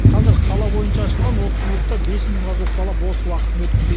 қазір қала бойынша ашылған отыз клубта бес мыңға жуық бала бос уақытын өткізеді